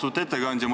Austatud ettekandja!